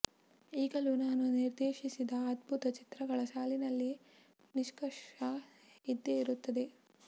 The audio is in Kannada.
ಈಗಲೂ ನಾನು ನಿರ್ದೇಶಿಸಿದ ಅದ್ಭುತ ಚಿತ್ರಗಳ ಸಾಲಿನಲ್ಲಿ ನಿಷ್ಕರ್ಷ ಇದ್ದೆ ಇರುತ್ತದೆ